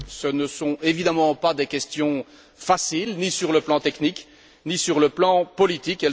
Ce ne sont évidemment pas des questions faciles, ni sur le plan technique ni sur le plan politique.